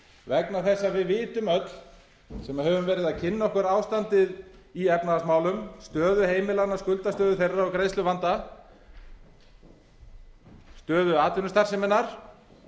vegna þess að við vitum öll sem höfum verið að kynna okkur ástandið í efnahagsmálum stöðu heimilanna skuldastöðu þeirra og greiðsluvanda stöðu atvinnustarfseminnar